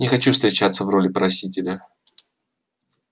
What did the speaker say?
не хочу встречаться в роли просителя